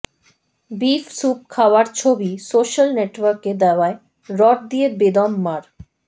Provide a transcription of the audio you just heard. beef soup খাওয়ার ছবি social নেটওয়ার্কে দেওয়ায় রড দিয়ে বেদম মার